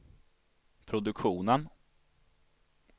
produktionen